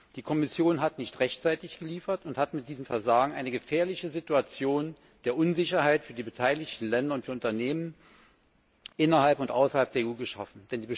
Die Kommission hat nicht rechtzeitig geliefert und mit diesem Versagen eine gefährliche Situation der Unsicherheit für die beteiligten Länder und für Unternehmen innerhalb und außerhalb der EU geschaffen.